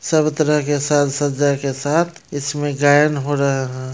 सब तरह के साज सज्जा के साथ इसमे गायन हो रहा है।